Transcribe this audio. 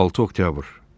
6 oktyabr.